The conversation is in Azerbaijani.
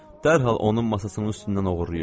Dərhal onun masasının üstündən oğurlayırdı.